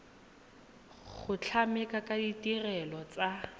go tlamela ka ditirelo tsa